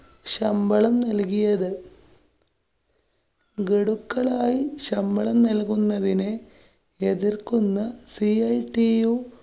ശമ്പളം നല്‍കിയത്. ഗഡുക്കളായി ശമ്പളം നല്‍കുന്നതിനെ എതിര്‍ക്കുന്ന CITU